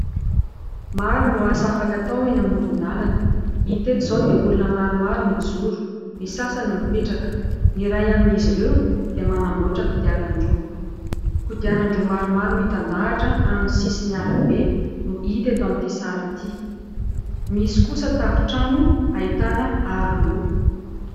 Maro ny asa afaka atao eny amoron-dalana. Hita eto izao dia olona maromaro mijoro, ny sasany mipetraka. Ny iray amin'izy ireo dia manamboatra kodiaran-droa. Kodiaran-droa maromaro mitandahatra amin'ny sisin'ny rabe no hita eto amin'ity sary iry. Misy kosa tafon-trano ahitana aroloha.